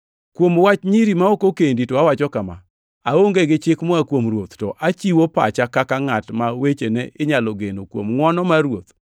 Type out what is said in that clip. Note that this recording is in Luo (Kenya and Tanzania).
Kuom wach nyiri ma ok okendi to awacho kama: Aonge gi chik moa kuom Ruoth, to achiwo pacha kaka ngʼat ma wechene inyalo geno kuom ngʼwono mar Ruoth.